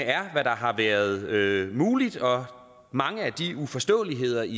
er hvad der har været muligt og mange af de uforståeligheder i